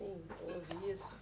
Houve isso?